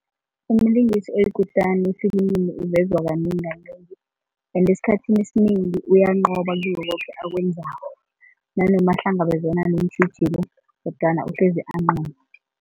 Umlingisi oyikutani efilimini uvezwa uvezwa kanengi kanengi ende esikhathini esinengi uyanqoba kikho akwenzako nanoma nanoma ahlangabezana neentjhijilo kodwana uhlezi anqoba.